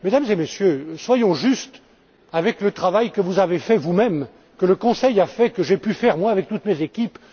Mesdames et Messieurs, soyons justes avec le travail que vous avez fait, vous même, que le Conseil a fait et que j'ai pu faire avec toutes mes équipes.